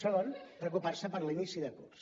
segon preocupar se per l’inici de curs